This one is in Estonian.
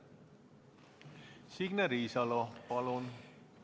Signe Riisalo, palun!